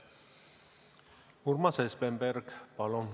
Urmas Espenberg, palun!